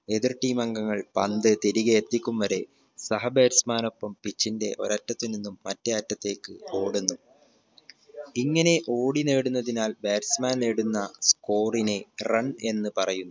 എതിർ team അംഗങ്ങൾ പന്ത് തിരികെ എത്തിക്കും വരെ സഹ batsman നൊപ്പം pitch ന്റെ ഒരറ്റത്തു നിന്നും മറ്റേ അറ്റത്തേക്ക് ഓടുന്നു ഇങ്ങനെ ഓടി നേടുന്നതിനാൽ batsman നേടുന്ന score ന് run എന്ന് പറയുന്നു